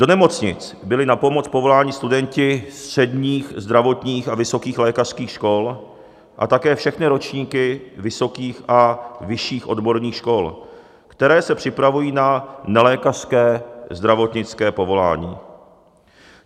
Do nemocnic byli na pomoc povoláni studenti středních zdravotních a vysokých lékařských škol a také všechny ročníky vysokých a vyšších odborných škol, které se připravují na nelékařské zdravotnické povolání.